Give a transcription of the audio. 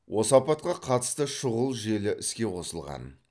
осы апатқа қатысты шұғыл желі іске қосылған